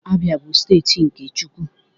Abia, bu steeti nke Chukwu.